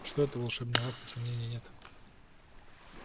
что это волшебная лавка сомнений нет